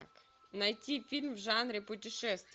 найти фильм в жанре путешествие